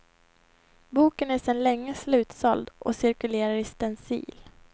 Boken är sedan länge slutsåld och cirkulerar i stencil.